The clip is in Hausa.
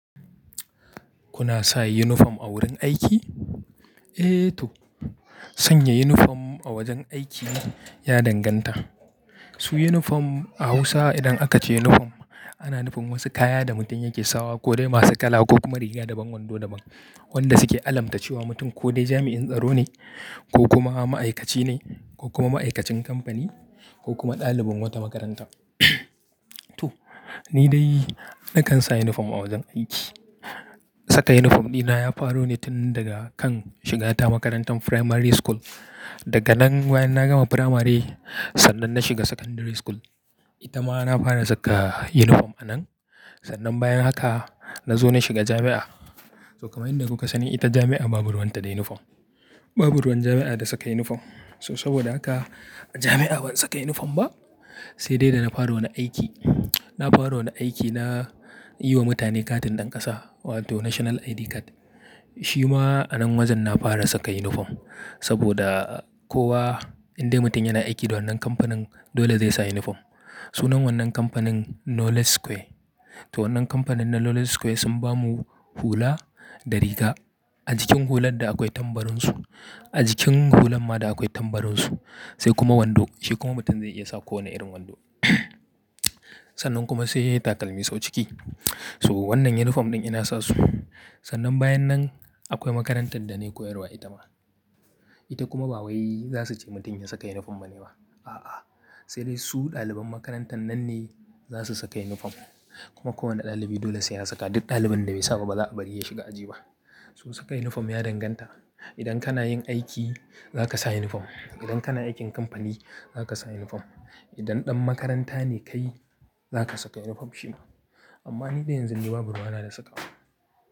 Kuna sa yunifom a wurin aiki? Eh to, sanya yunifom a wajen aiki ya danganta. Su yunifom a Hausa idan aka ce yunifom, ana nufin wasu kaya da mutum yake sawa, ko dai masu kala ko kuma riga daban, wando daban wanda suke alamta cewa mutum ko dai jami'in tsaro ne, ko kuma ma'aikaci ne, ko kuma ma'aikacin kamfani, ko kuma ɗalibin wata makaranta. To, ni dai na kan sa yunifom a wajen aiki. Saka yunifom dina ya faro ne tun daga kan shigata makarantar primary school. Daga nan bayan na gama primary, sannan na shiga secondary school. Ita ma na fara saka yunifom a nan. Sannan bayan haka na zo na shiga jami'a. To kamar yadda kuka sani ita jami'a babu ruwanta da yunifom. Babu ruwan jami'a da saka yunifom. So saboda haka a jami'a ban saka yunifom ba, sai dai da na fara wani aiki. Na fara wani aiki na yi wa mutane katin ɗan ƙasa wato national ID card. Shi ma a nan wajen na fara saka yunifom, saboda kowa, indai mutum yana aiki da wannan kamfanin dole zai sa yunifom. Sunan wannan kamfanin "Knowledge Square". To wannan kamfanin na Knowledge Square sun ba mu hula, da riga. A jikin hular da akwai tambarin su. A jikin hulan ma da akwai tambarin su. Sai kuma wando, shi kuma mutum zai iya sa kowane irin wando. Sannan kuma sai takalmi sau ciki. To, wannan yunifom ɗin ina sa su. Sannan bayan nan akwai makarantar da na yi koyarwa ita ma. Ita kuma ba wai za su ce mutum ya saka yunifom ba ne ba. A'a, sai dai su ɗaliban makarantar nan ne za su saka yunifom. Kuma kowane ɗalibi dole sai ya saka. Duk ɗalibin da bai sa ba, ba za'a bari ya shiga aji ba. So saka yunifom ya danganta. Idan kana yin aiki za ka sa yunifom. Idan kana aikin kamfani za ka sa yunifom. Idan ɗan makaranta ne kai za ka saka yunifom shi ma. Amma ni dai yanzu ni babu ruwa na da saka.